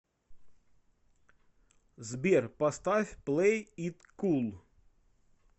сбер поставь плэй ит кул